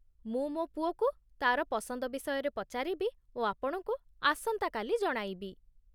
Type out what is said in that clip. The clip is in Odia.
ମୁଁ ମୋ ପୁଅକୁ ତାର ପସନ୍ଦ ବିଷୟରେ ପଚାରିବି ଓ ଆପଣଙ୍କୁ ଆସନ୍ତା କାଲି ଜଣାଇବି।